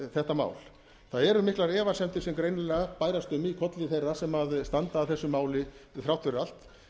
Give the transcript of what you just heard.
þetta mál það eru miklar efasemdir sem greinilega bærast um í kolli þeirra sem standa að þessu máli þrátt fyrir allt